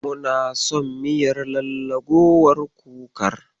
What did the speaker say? Muna son miyar lallagowar kukar.